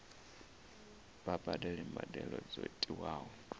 vha badele mbadelo dzo tiwaho